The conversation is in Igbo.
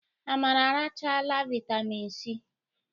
Amara arachala vitamịn Si.